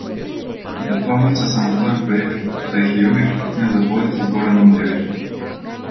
Ki pa sploh niso samostojen projekt, saj jih je Jurić posnel v dvojcu z Goranom Devićem.